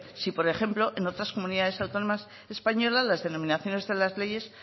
si por ejemplo en otras comunidades autónomas españolas las denominaciones de las leyes